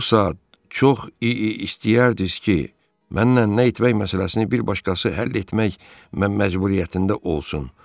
Bu saat çox istəyərdiniz ki, mənlə nə etmək məsələsini bir başqası həll etmək məcburiyyətində olsun.